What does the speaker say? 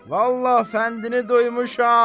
Vallahi fəndini duymuşam.